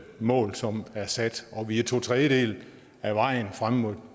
mål som er sat og vi er to tredjedele af vejen frem mod